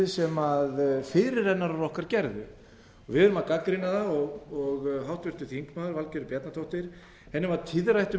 sem fyrirrennarar okkar gerðu við erum að gagnrýna það og háttvirtum þingmanni valgerði bjarnadóttur var tíðrætt um